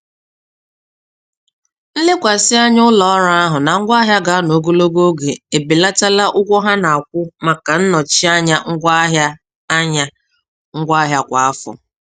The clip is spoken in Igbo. Nlekwasị anya ụlọ ọrụ ahụ na ngwaahịa ga-anọ ogologo oge ebelatala ụgwọ ha na-akwụ maka nnọchi anya ngwaahịa anya ngwaahịa kwa afọ.